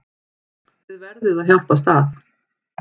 Þið verðið að hjálpast að.